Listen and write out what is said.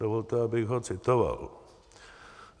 Dovolte, abych ho citoval.